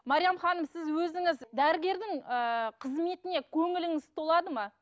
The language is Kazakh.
мариям ханым сіз өзіңіз дәрігердің ыыы қызметіне көңіліңіз толады ма